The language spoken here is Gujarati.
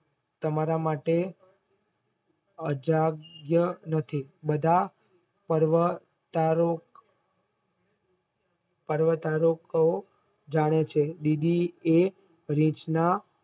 તમારા માટે અજાગ્યા નથી બધા પર્વતારો પર્વતારોકો જાય છે દીદી એ રીચના